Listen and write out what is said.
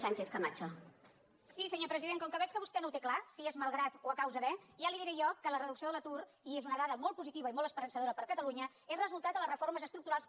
sí senyor president com que veig que vostè no ho té clar si és malgrat o a causa de ja li diré jo que la reducció de l’atur i és una dada molt positiva i molt esperançadora per a catalunya és el resultat de les reformes estructurals que